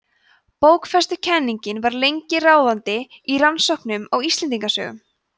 bókfestukenningin var lengi ráðandi í rannsóknum á íslendingasögum